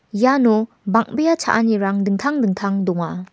iano bang·bea cha·anirang dingtang dingtang donga.